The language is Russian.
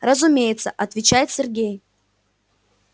разумеется отвечает сергей